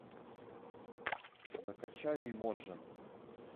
закачай имоджен